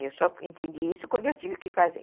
Eu só entendi isso quando eu tive que fazer.